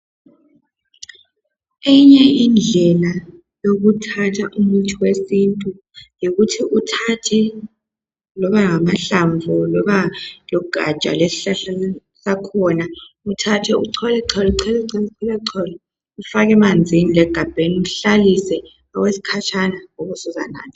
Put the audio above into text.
Eyinye indlela yokuthatha umuthi wesintu yikuthi uthathe loba ngamahlamvu loba lugatsha lwesihlahla sakhona uthathe uchole chole chole chole chole ufake emanzini legabheni uhlalise okwesikhatshana ube usuzanatha.